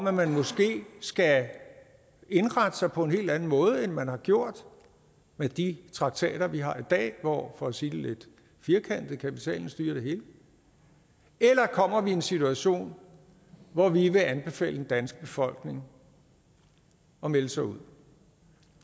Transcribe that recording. at man måske skal indrette sig på en helt anden måde end man har gjort med de traktater vi har i dag hvor for at sige det lidt firkantet kapitalen styrer det hele eller kommer vi i en situation hvor vi vil anbefale den danske befolkning at melde sig ud